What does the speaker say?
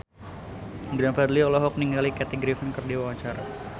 Glenn Fredly olohok ningali Kathy Griffin keur diwawancara